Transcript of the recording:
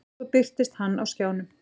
Svo birtist hann á skjánum.